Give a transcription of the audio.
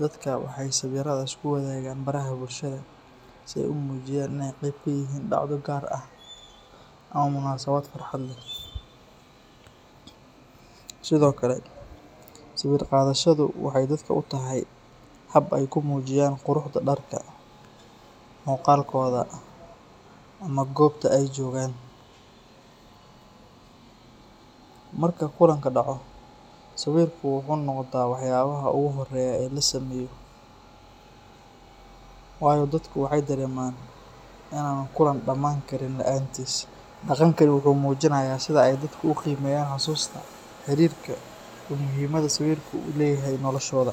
dadka waxay sawiradaas ku wadaagaan baraha bulshada si ay u muujiyaan in ay qayb ka yihiin dhacdo gaar ah ama munaasabad farxad leh. Sidoo kale, sawir qaadashadu waxay dadka u tahay hab ay ku muujiyaan quruxda dharka, muuqaalkooda, ama goobta ay joogaan. Marka kulanka dhaco, sawirku wuxuu noqdaa waxyaabaha ugu horeeya ee la sameeyo, waayo dadku waxay dareemaan in aan kulanku dhammaan karin la’aantiis. Dhaqankani wuxuu muujinayaa sida ay dadku u qiimeeyaan xasuusta, xiriirka, iyo muhiimadda sawirku u leeyahay noloshooda.